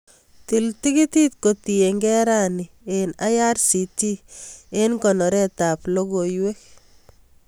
Til tikitit kotienge rani en irctc en konoret ab logoiywek